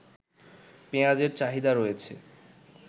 পেঁয়াজের চাহিদা রয়েছে